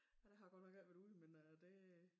Ja der har jeg godt nok ikke været ude med det